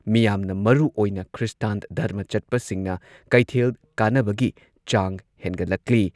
ꯃꯤꯌꯥꯝꯅ ꯃꯔꯨꯑꯣꯏꯅ ꯈ꯭ꯔꯤꯁꯇꯥꯟ ꯙꯔꯃ ꯆꯠꯄꯁꯤꯡꯅ ꯀꯩꯊꯦꯜ ꯀꯥꯅꯕꯒꯤ ꯆꯥꯡ ꯍꯦꯟꯒꯠꯂꯛꯂꯤ꯫